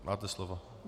Máte slovo.